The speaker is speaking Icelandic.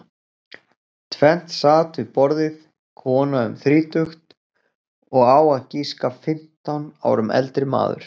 Tvennt sat við borðið, kona um þrítugt og á að giska fimmtán árum eldri maður.